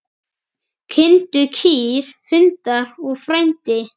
Kindur, kýr, hundar og frændi.